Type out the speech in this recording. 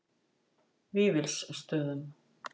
Vífilsstöðum